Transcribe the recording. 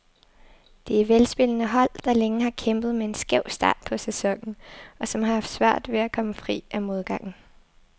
Det er velspillende hold, der længe har kæmpet med en skæv start på sæsonen, og som har haft svært ved at komme fri af modgangen.